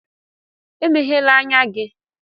Emeghèlà ányá gị!